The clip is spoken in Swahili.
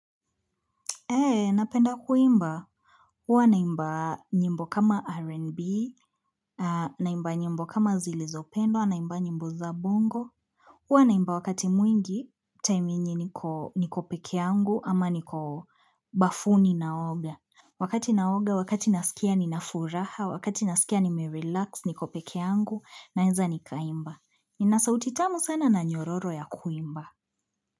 Eee, napenda kuimba. Huwa naimba nyimbo kama R&B, naimba nyimbo kama zilizopendwa, naimba nyimbo za bongo. Huwa naimba wakati mwingi, time yenye niko niko peke yangu ama niko bafuni na oga. Wakati naoga, wakati nasikia ninafuraha, wakati nasikia nime relax, niko peke yangu, naeza nikaimba. Nina sauti tamu sana na nyororo ya kuimba.